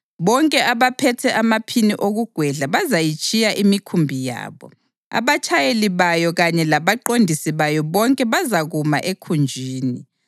Bonke abaphethe amaphini okugwedla bazayitshiya imikhumbi yabo; abatshayeli bayo kanye labaqondisi bayo bonke bazakuma ekhunjini.